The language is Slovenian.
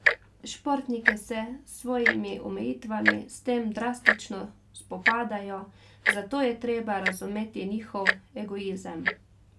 Športniki se s svojimi omejitvami s tem drastično spopadajo, zato je treba razumeti njihov egoizem.